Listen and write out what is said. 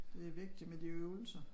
Det vigtigt med de øvelser